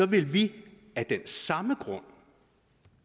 vil vi af den samme grund